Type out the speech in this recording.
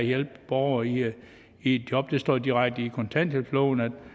hjælpe borgere i i job der står direkte i kontanthjælpsloven at med